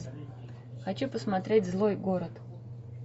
хочу посмотреть злой город